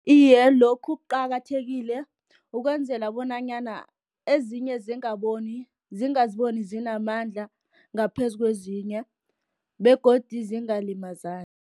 Iye, lokhu kuqakathekile, ukwenzela bonanyana ezinye zingazibona zinamandla, ngaphezu kwezinye, begodu zingalimazani.